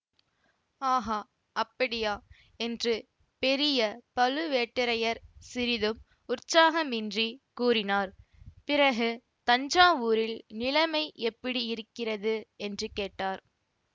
ஆகா அப்படியா என்று பெரிய பழுவேட்டரையர் சிறிதும் உற்சாகமின்றிக் கூறினார் பிறகு தஞ்சாவூரில் நிலைமை எப்படி இருக்கிறது என்று கேட்டார்